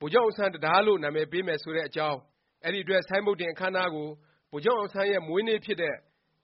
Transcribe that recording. ဗိုလ်ချုပ်အောင်ဆန်း တံတားလို့ နာမည်ပေးမယ် ဆိုတဲ့အကြောင်း၊ အဲဒီအတွက် ဆိုင်းဘုတ်တင် အခန်းအနားကို ဗိုလ်ချုပ်အောင်ဆန်းရဲ့ မွေးနေ့ဖြစ်တဲ့